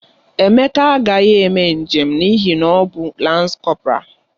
Emeka agaghị eme njem n'ihi na ọ bụ lans kọporal.